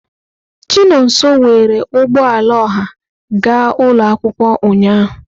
Chinonso were ụgbọ ala ọha ga ụlọ akwụkwọ ụnyahụ.